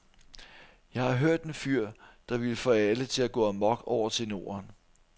Jeg har hørt en fyr, der vil få alle til at gå amok over tenoren.